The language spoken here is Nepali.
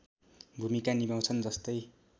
भूमिका निभाउँछन् जस्तै